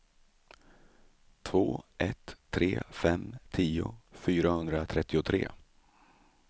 två ett tre fem tio fyrahundratrettiotre